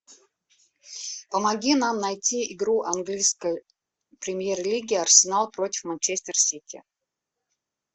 помоги нам найти игру английской премьер лиги арсенал против манчестер сити